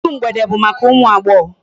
Iru mgbede bụ maka ụmụ agbọghọ.